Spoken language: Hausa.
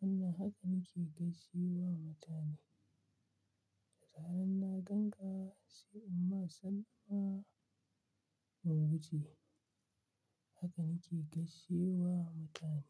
Wanna haka nake gaishe wa mutane. Da karan na gan ka sai in ma sallama in wuce. Haka nake gaishe wa mutane.